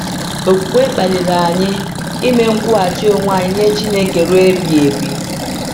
Okwukwe kpaliri anyị ime nkwụghachi onwe anyị nye Chineke ruo ebighị ebi.